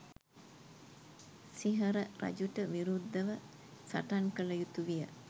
සිංහර රජුට විරුද්දව සටන් කල යුතු විය